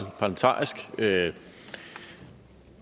jeg